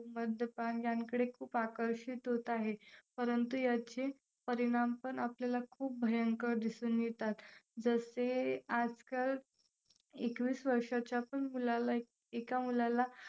मद्यपान यांकडे खूप आकर्षित होत आहेत. परंतु याचे परिणाम पण आपल्याला खूप भयंकर दिसून येतात. जसे आजकाल एकवीस वर्षाच्या पण मुलाला एका मुलाला